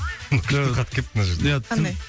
күшті хат келіпті мына жерде қандай